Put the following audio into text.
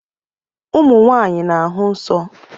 Ụmụ nwaanyị na-ahụ nsọ.